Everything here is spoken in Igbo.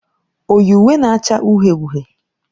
O yi uwe na-acha uhie uhie?